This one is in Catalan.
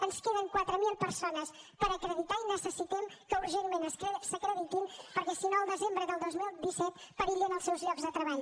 ens queden quatre mil persones per acreditar i necessitem que urgentment s’acreditin perquè si no el desembre del dos mil disset perillen els seus llocs de treball